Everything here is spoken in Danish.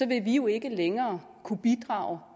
vi jo ikke længere kunne bidrage